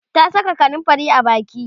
ta Saka kanumfari a Baki